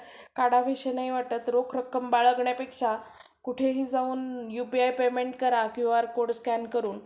एकतर खाली म्हणजे असं वर्गात खाली बसायला देणार. पण मग खाली कसं ते मध्ये आणि तिथं अं bench ते ण असणार मग ते bench पण सगळं सरकवा आणि परत ते लावा. म्हणजे तेवढं आणि खाली जेवताना ते असं पडणार झडणार मग ते